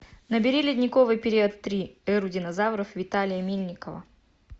набери ледниковый период три эру динозавров виталия мельникова